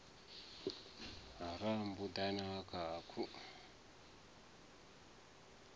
ha rambuḓa na ha khakhu